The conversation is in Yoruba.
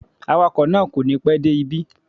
Awakọ̀ náà kò ní pẹ́ dé ibí